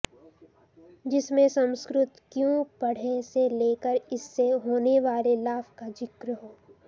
जिसमें संस्कृत क्यों पढ़ें से लेकर इससे होने वाले लाभ का जिक्र हो